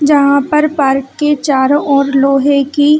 जहाँ पर पार्क के चारो ओर लोहे की--